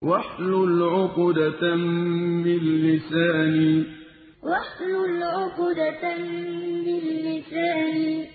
وَاحْلُلْ عُقْدَةً مِّن لِّسَانِي وَاحْلُلْ عُقْدَةً مِّن لِّسَانِي